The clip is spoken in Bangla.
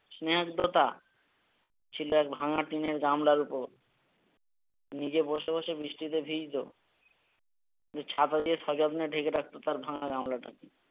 স্নেহততা ছিল এক ভাঙা টিনের গামলার ওপর নিজে বসে বসে বৃষ্টিতে ভিজতো কিন্তু ছাতা দিয়ে সযত্নে ঢেকে রাখতো তার ভাঙা গামলাটাকে